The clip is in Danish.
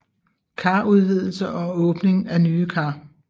Karudvidelse og åbning af nye kar